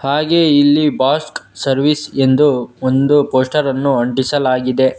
ಹಾಗೆ ಇಲ್ಲಿ ಬಾಸ್ಕ್ ಸರ್ವಿಸ್ ಎಂದು ಒಂದು ಪೋಸ್ಟರ್ ಅನ್ನು ಅಂಟಿಸಲಾಗಿದೆ.